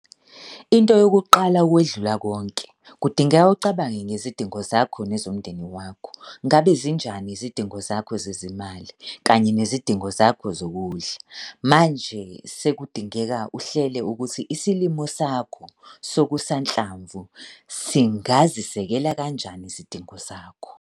Into yokuqala ukwedlula konke, kudingeka ucabange ngezidingo zakho nezomndeni wakho. Ngabe zinjani izidingo zakho zezimali kanye nezidingo zakho zokudla? Manje sekudingeka uhlele ukuthi isilimo sakho sokusanhlamvu singazisekela kanjani izidingo zakho.